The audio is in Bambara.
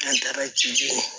An taara